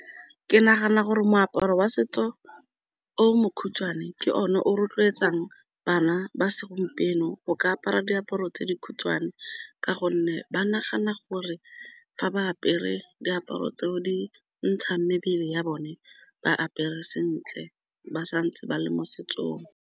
Ke nagana gore moaparo wa setso o mokhutswane ke o ne o rotloetsang bana ba segompieno go ka apara diaparo tse dikhutshwane, ka gonne ba nagana gore fa ba apere diaparo tseo di ntshang mebele ya bone ba apere sentle ba sa ntse ba le mo setsong.